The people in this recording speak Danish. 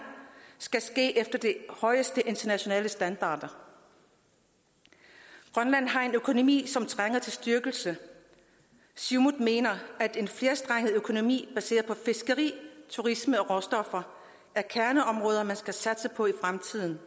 skal ske efter de højeste internationale standarder grønland har en økonomi som trænger til styrkelse siumut mener at en flerstrenget økonomi baseret på fiskeri turisme og råstoffer er kerneområder man skal satse på i fremtiden